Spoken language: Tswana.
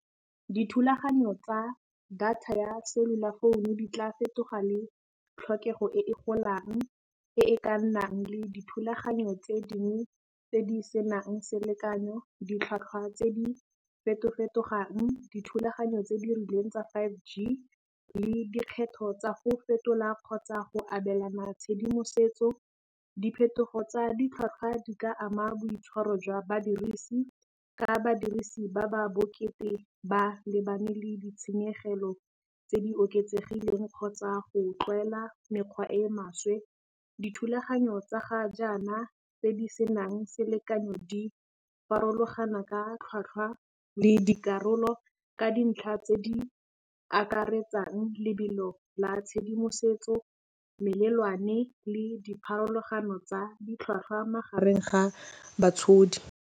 Dithulaganyo tsa data ya cellular founu di tla fetoga le tlhokego e e golang, e e ka nnang le dithulaganyo tse dingwe tse di senang selekanyo, ditlhwatlhwa tse di fetofetogang, dithulaganyo tse di rileng tsa five G le dikgetho tsa go fetola kgotsa go abelana tshedimosetso. Diphetogo tsa ditlhwatlhwa di ka ama boitshwaro jwa badirisi, ka badirisi ba ba bokete ba lebane le ditshenyegelo tse di oketsegileng kgotsa go tlwaela mekgwa e e maswe, dithulaganyo tsa ga jaana tse di senang selekanyo di farologana ka tlhwatlhwa le dikarolo ka dintlha tse di akaretsang lebelo la tshedimosetso, melelwane le dipharologano tsa ditlhwatlhwa magareng ga batshodi.